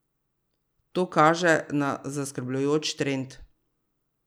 To kaže na zaskrbljujoč trend.